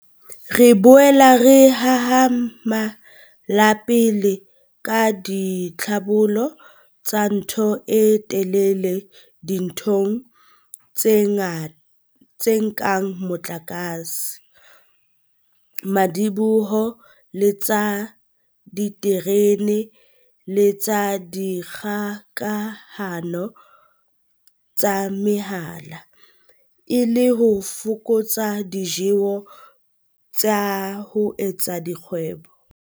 Re boela re hahama lla pele ka ditlhabollo tsa nako e telele dinthong tse kang mo tlakase, madiboho le tsa diterene le tsa dikgokahano tsa mehala, e le ho fokotsa ditjeo tsa ho etsa kgwebo.